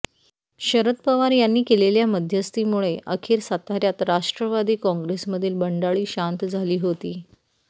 शरद पवार यांनी केलेल्या मध्यस्थीमुळे अखेर साताऱ्यात राष्ट्रवादी काँग्रेसमधील बंडाळी शांत झाली होती